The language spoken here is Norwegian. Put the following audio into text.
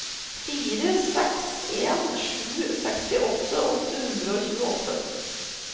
fire seks en sju sekstiåtte åtte hundre og tjueåtte